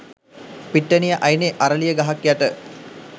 පිට්ටනිය අයිනෙ අරලිය ගහක් යට.